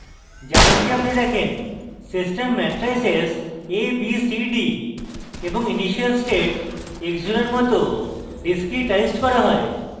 যেমনকি আপনি দেখেন system matrices a b c d এবং ইনিশিয়াল state x জিরোর মত discretized করা হয়